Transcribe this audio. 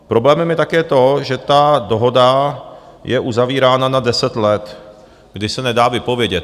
Problémem je také to, že ta dohoda je uzavírána na deset let, kdy se nedá vypovědět.